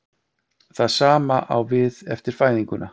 Það sama á við eftir fæðinguna.